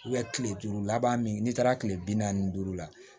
kile duuru laban min n'i taara kile bi naani ni duuru la